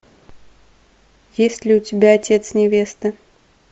есть ли у тебя отец невесты